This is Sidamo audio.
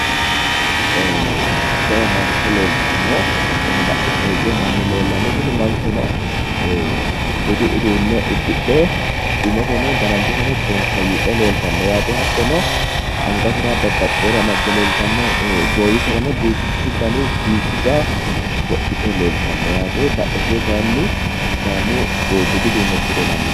Jawa mancho leeltanno hattono badheseenni hige mannu leellanno tini manchono budu udunne uddidhe hattono Umo bonkooyyidhe leeltanno hattono goiwisera duucha diigga wodhite leeltanno yaate